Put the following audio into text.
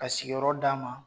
Ka sigiyɔrɔ d 'a ma.